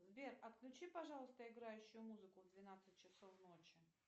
сбер отключи пожалуйста играющую музыку в двенадцать часов ночи